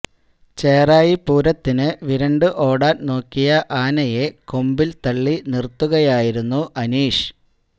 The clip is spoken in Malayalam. ചെറായി പൂരത്തിന് വിരണ്ടു ഓടാന് നോക്കിയ ആനയെ കൊമ്പില് തള്ളി നിര്ത്തുകയായിരുന്നു അനീഷ്